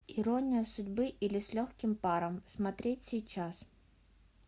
ирония судьбы или с легким паром смотреть сейчас